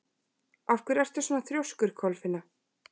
Af hverju ertu svona þrjóskur, Kolfinna?